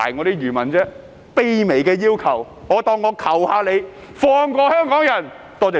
這是個卑微的要求，當我求求你們，放過香港人！